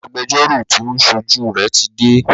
Agbẹjọ́rọ́ tí o ń ṣojú rẹ tí dé.